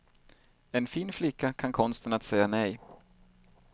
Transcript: En fin flicka kan konsten att säga nej.